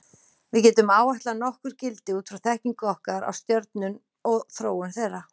Við getum áætlað nokkur gildi út frá þekkingu okkar á stjörnum og þróun þeirra.